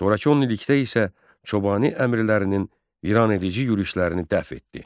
Sonrakı 10 illikdə isə Çobani əmirlərinin viranedici yürüşlərini dəf etdi.